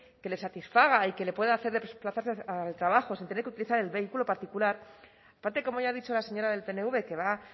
que le satisfaga y que le pueda hacer desplazarse al trabajo sin tener que utilizar el vehículo particular aparte de como ha dicho la señora del pnv que va